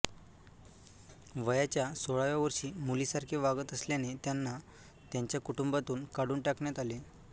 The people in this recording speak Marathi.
वयाच्या सोळाव्या वर्षी मुलीसारखे वागत असल्याने त्यांना त्याच्या कुटुंबातून काढून टाकण्यात आले